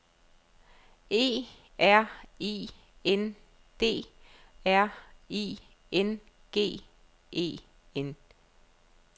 E R I N D R I N G E N